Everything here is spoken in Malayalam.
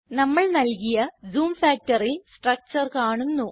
നമ്മൾ നൽകിയ ജൂം factorൽ സ്ട്രക്ചർ കാണുന്നു